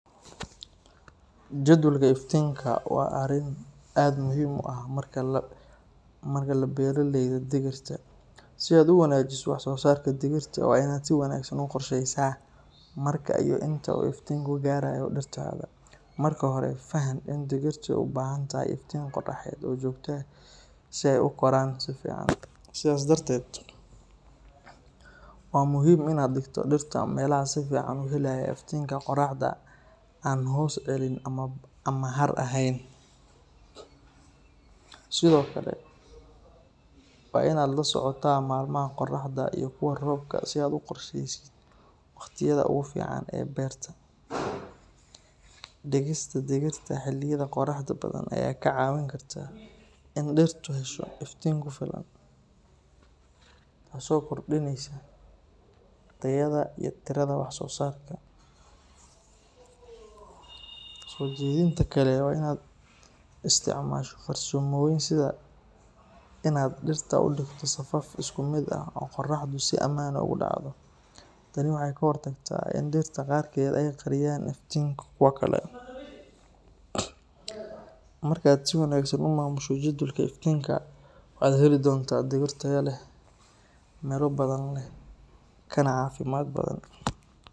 Jadwalka iftiinka waa arrin aad muhiim u ah marka la beeraleyda digirta. Si aad u wanaajiso wax-soosaarka digirta, waa in aad si wanaagsan u qorsheysaa marka iyo inta uu iftiinku gaarayo dhirtaada. Marka hore, faham in digirtu u baahan tahay iftiin qorraxeed oo joogto ah si ay u koraan si fiican. Sidaa darteed, waa muhiim in aad dhigto dhirta meelaha si fiican u helaya iftiinka qorraxda oo aan hoos celin ama har ahayn. Sidoo kale, waa in aad la socotaa maalmaha qorraxda iyo kuwa roobka si aad u qorsheysid wakhtiyada ugu fiican ee beerta. Dhigista digirta xilliyada qorraxda badan ayaa ka caawin karta in dhirtu hesho iftiin ku filan, taasoo kordhinaysa tayada iyo tirada wax-soosaarka. Soo jeedinta kale waa in aad isticmaasho farsamooyin sida in aad dhirta u dhigto safaf isku mid ah oo qorraxdu si siman ugu dhacdo. Tani waxay ka hortagtaa in dhirta qaarkeed ay qariyaan iftiinka kuwa kale. Marka aad si wanaagsan u maamusho jadwalka iftiinka, waxaad heli doontaa digir tayo leh, midho badan leh, kana caafimaad badan.